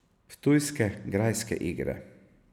Ptujske grajske igre.